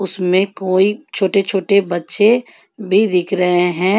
ऊसमें कोई छोटे-छोटे बच्चे भी दिख रहे हैं।